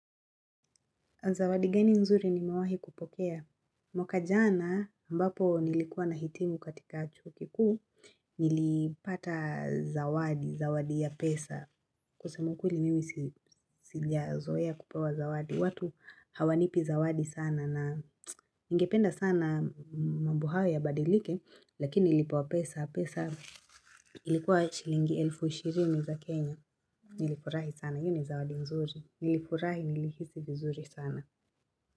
Zawadi gani nzuri nimewahi kupokea? Mwaka jana ambapo nilikuwa nahitimu katika chuo kikuu nilipata zawadi, zawadi ya pesa. Kusema ukweli mimi sijazoea kupewa zawadi. Watu hawanipi zawadi sana na ningependa sana mambo hayo yabadilike lakini nilipewa pesa. Pesa ilikuwa shilingi elfu ishirini za Kenya. Nilifurahi sana. Hii ni zawadi nzuri. Nilifurahi nilihisi vizuri sana.